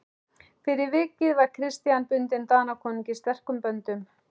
Fyrir vikið var Christian bundinn Danakonungi sterkum böndum.